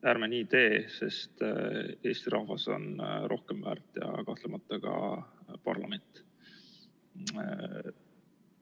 Ärme nii teeme, sest Eesti rahvas on rohkem väärt ja kahtlemata ka parlament.